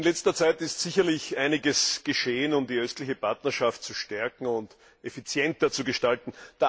In letzter Zeit ist sicherlich einiges geschehen, um die östliche Partnerschaft zu stärken und effizienter zu gestalten.